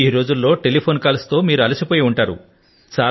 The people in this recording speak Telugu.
ఈ రోజుల్లో టెలిఫోన్ కాల్స్ తో మీరు అలసి పోయి ఉంటారు